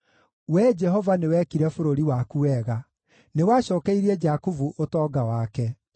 Wee Jehova, nĩ wekire bũrũri waku wega; nĩwacookeirie Jakubu ũtonga wake.